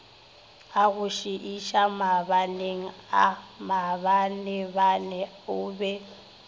agošiiša maabaneaa maabanebane o be